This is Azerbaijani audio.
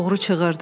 Oğru çığırdı.